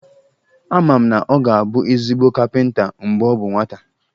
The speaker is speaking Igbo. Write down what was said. Ama m na ọ ga-abụ ezigbo kapịnta mgbe ọ bụ nwata